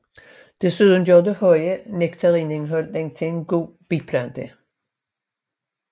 Desuden gør det høje nektarindhold den til en god biplante